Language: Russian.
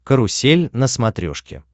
карусель на смотрешке